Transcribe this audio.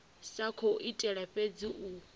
sa khou itela fhedzi u